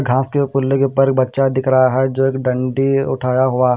घास के ऊपर एक बच्चा दिख रहा है जोकि एक डंडी उठाया हुआ--